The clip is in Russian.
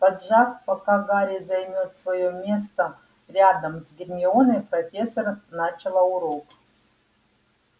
поджав пока гарри займёт своё место рядом с гермионой профессор начала урок